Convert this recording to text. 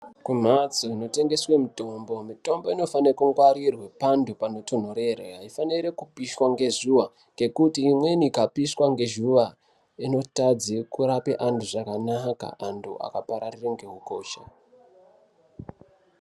Kumhatso inotengeswe mutombo mitombo inofanire kungwarirwe panhu panotonhorere aifani kupiswa ngezuwa ngekuti imweni ikapishwa ngezhuwa inotadze kurape antu zvakanaka antu akapararire ngeukosha.